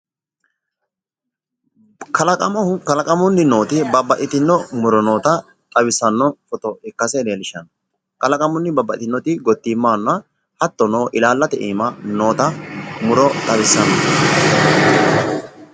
Kalaqamunni nooti babbaxxitino muro noota xawissanno misile ikkase leellishshanno tini murono gottimu baattote ofollora noo muro ikkase xawissanno misileeti